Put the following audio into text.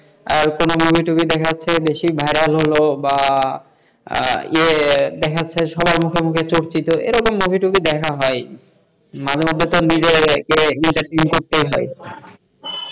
আর কোনো movie টুভী দেখার চেয়ে বেশি ভাইরাল হলো বা দেখা যাচ্ছে সবার মুখে মুখে চর্চিত এই রকম movie টুভী দেখা হয় মাঝে মধ্যে নিজেকে তো করতেই হয়,